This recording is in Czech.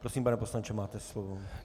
Prosím, pane poslanče, máte slovo.